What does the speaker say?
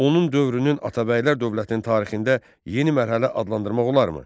Onun dövrünü Atabəylər dövlətinin tarixində yeni mərhələ adlandırmaq olarmı?